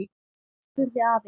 spurði afi.